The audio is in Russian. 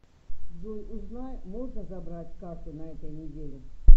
джой узнай можно забрать карту на этой неделе